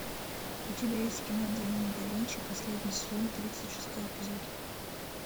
у тебя есть кино демоны да винчи последний сезон тридцать шестой эпизод